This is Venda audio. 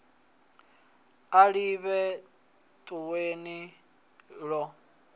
a ḓivhe toe ni ḓo